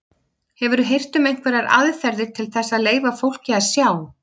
Hefurðu heyrt um einhverjar aðferðir til þess að leyfa fólki að sjá?